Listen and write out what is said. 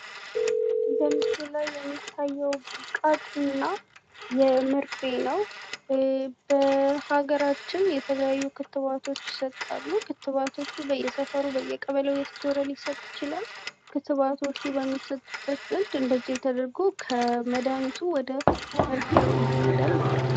በምስሉ ላይ የሚያየው ብልቃትና መርፌ ነው። በሃገራችን የተለያዩ ክትባቶች ይሰጣሉ። ክትባቶቹ በየሰፈሩ በየቀበሌው እየተዞረ ሊሰጥ ይችላል። ክትባቶቹ በሚሰጡበት ዘንድ እንደዚህ ተደርጎ መድሃኒቱ ወደ መርፌው ይሄዳል ማለት ነው።